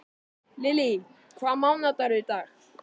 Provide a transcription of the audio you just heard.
Lily, hvaða mánaðardagur er í dag?